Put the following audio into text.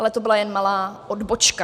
Ale to byla jen malá odbočka.